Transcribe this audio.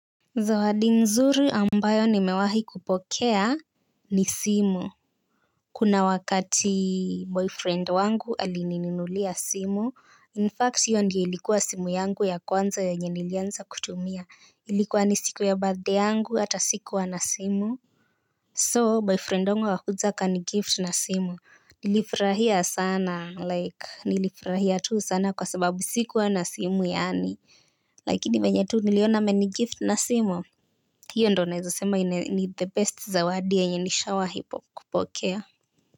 Zawadi nzuri ambayo nimewahi kupokea ni simu. Kuna wakati boyfriend wangu alininunulia simu, In fact hiyo ndio ilikuwa simu yangu ya kwanza yenye nilianza kutumia. Ilikuwa ni siku ya birthday yangu hata sikuwa na simu So boyfriend wangu akakuja akanigift na simu. Nilifurahia sana like nilifurahia tu sana kwa sababu sikuwa na simu yaani lakini venye tu niliona amenigift na simu hio ndio naeza sema ni the best zawadi yenye nishawahi kupokea.